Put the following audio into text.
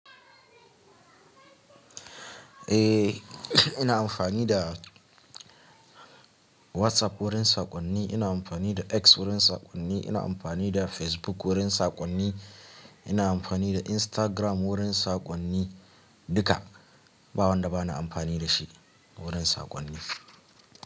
Eh, ina amfani da WhatsApp wurin saƙonni, ina amfani da X wurin saƙonni, ina amfani da Facebook wurin saƙonni, ina amfani da Instagram wurin saƙonni. Duka, ba wanda ba na amfani da shi wurin saƙonni.